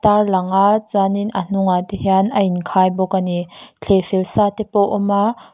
tar lang a chuanin a hnungahte hian a inkhai bawk a ni thleh fel sa te pawh a awm a.